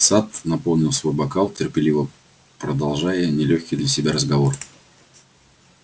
сатт наполнил свой бокал терпеливо продолжая нелёгкий для себя разговор